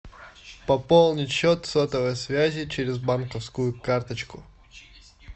пополнить счет сотовой связи через банковскую карточку